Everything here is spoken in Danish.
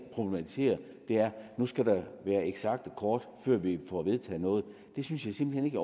det nu skal der være eksakte kort før vi får vedtaget noget det synes jeg simpelt hen